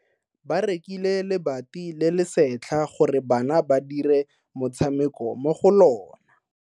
Ba rekile lebati le le setlha gore bana ba dire motshameko mo go lona.